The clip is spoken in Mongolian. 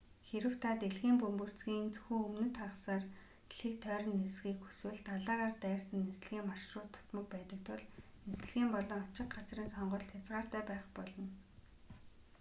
хэрэв та дэлхийн бөмбөрцгийн зөвхөн өмнөд хагасаар дэлхийг тойрон нисэхийг хүсвэл далайгаар дайрсан нислэгийн маршрут дутмаг байдаг тул нислэг болон очих газрын сонголт хязгаартай байх болно